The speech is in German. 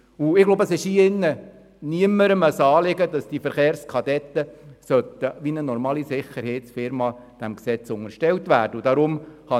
Ich glaube, es ist niemandes Anliegen in diesem Saal, dass die Verkehrskadetten wie eine normale Sicherheitsfirma diesem Gesetz unterstellt werden sollten.